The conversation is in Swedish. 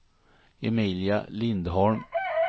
Emilia Lindholm